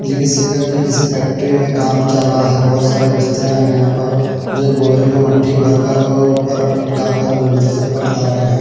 किसी का किसी फैक्ट्री में काम चल रहा है बहुत सारे मिश्रा है यहां पर जो बोरे में मट्टी भरकर ऊपर अटकाकर बोल से ऊपर चला रहे हैं।